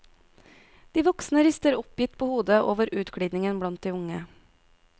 De voksne rister oppgitt på hodet over utglidningen blant de unge.